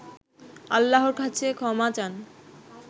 আল্লাহর কাছে ক্ষমা চান